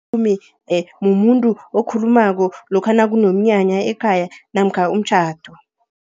mumuntu, okhulumako lokha nakunomnyanya ekhaya namkha umtjhado.